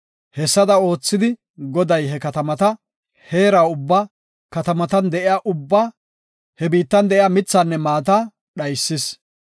Hessada oothidi Goday he katamata, heera ubba, katamatan de7iyaba ubbaa he biittan de7iya mithaanne maata dhaysis.